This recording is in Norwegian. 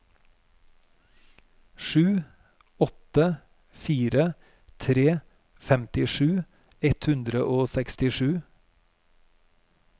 sju åtte fire tre femtisju ett hundre og sekstisju